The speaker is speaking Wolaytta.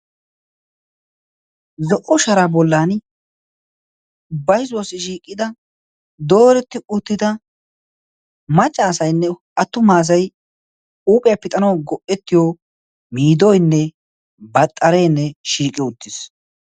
zo77o sharaa bollan baizuwassi shiiqqida dooretti uttida maccaasainne attu maasai uuphiyaa pixanau go77ettiyo miidoinne baxxareenne shiiqiyo uttiis